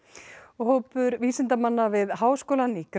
hópur vísindamanna við háskólann í